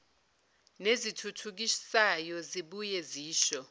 nezithuthukisayo zibuye zisho